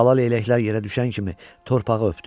Balaleyləklər yerə düşən kimi torpağı öpdü.